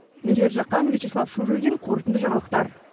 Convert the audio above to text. меруерт жақан вичислав шурыгин қорытынды жаңалықтар